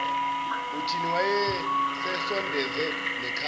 uthini wayesesondeze nekhanda